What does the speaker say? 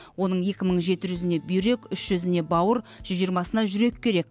оның екі мың жеті жүзіне бүйрек үш жүзіне бауыр жүз жиырмасына жүрек керек